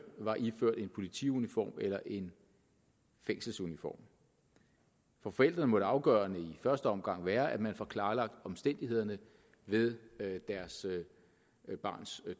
var iført en politiuniform eller en fængselsuniform for forældrene må det afgørende i første omgang være at man får klarlagt omstændighederne ved deres barns